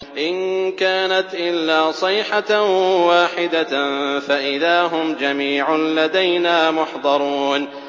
إِن كَانَتْ إِلَّا صَيْحَةً وَاحِدَةً فَإِذَا هُمْ جَمِيعٌ لَّدَيْنَا مُحْضَرُونَ